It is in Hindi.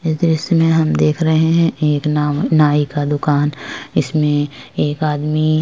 इस दृश्य में हम देख रहे हैं एक नाम नाई का दुकान इसमें एक आदमी --